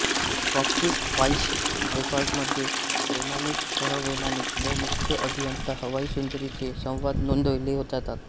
cockpit voice रेकॉर्डरमध्ये वैमानिक सहवैमानिक व मुख्य अभियंता हवाई सुंदरींचे संवाद नोंदवले जातात